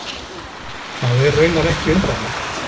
Það er raunar ekki undarlegt.